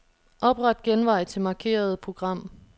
Opret genvej til markerede program.